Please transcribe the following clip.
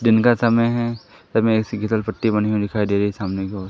दिन का समय है हमें पट्टी बनी हुई दिखाई दे रही सामने की ओर।